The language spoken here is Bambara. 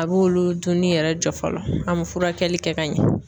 A b'olu duuni yɛrɛ jɔ fɔlɔ ,an be furakɛli kɛ ka ɲɛ.